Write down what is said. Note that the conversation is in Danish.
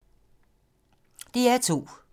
DR2